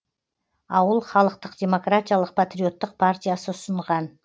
ауыл халықтық демократиялық патриоттық партиясы ұсынған